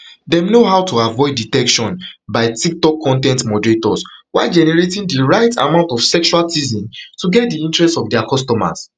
dem know how to avoid detection by tiktok con ten t moderators while generating di right amount of sexual teasing to get di interest of dia customers